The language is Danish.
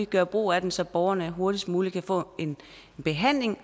gøre brug af den så borgerne hurtigst muligt kan få behandling